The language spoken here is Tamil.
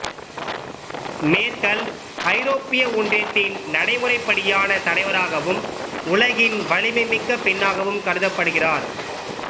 மேர்க்கல் ஐரோப்பிய ஒன்றியத்தின் நடைமுறைப்படியான தலைவராகவும் உலகின் வலிமைமிக்க பெண்ணாகவும் கருதப்படுகிறார்